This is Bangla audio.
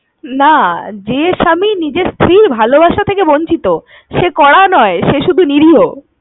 না, যে স্বামী নিজের স্ত্রীর ভালোবাসা থেকে বঞ্চিত সে কড়া নয়, সে শুধু নিরীহ।